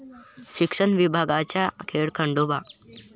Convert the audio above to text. शिक्षण विभागाचा खेळखंडोबा